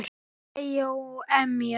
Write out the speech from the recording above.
Hlæja og emja.